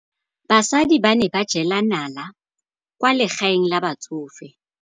Basadi ba ne ba jela nala kwaa legaeng la batsofe.